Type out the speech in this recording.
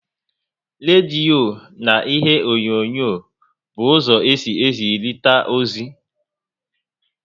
Rediyo na ihe onyonyo bụ ụzọ esi ezirita ozi